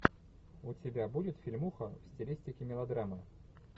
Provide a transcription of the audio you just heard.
у тебя будет фильмуха в стилистике мелодрамы